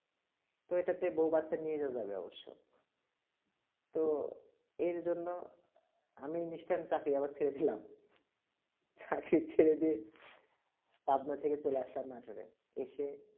তো তবে এটাতে বউ বাচ্চা নিয়ে ওখানে যাওয়া যাবে অবশ্য তো এর জন্য আমি নিশ্চিত চাকরি আবার ছেড়ে দিলাম চাকরি ছেড়ে দিয়ে সাধনার ছেড়ে চলে আসলাম নাটোরে এসে